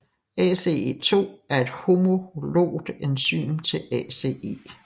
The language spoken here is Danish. ACE2 er et homologt enzym til ACE